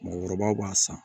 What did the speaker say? Mɔɔkɔrɔbaw b'a san